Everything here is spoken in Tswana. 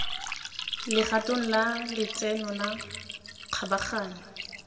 legatong la letseno la kgabaganyo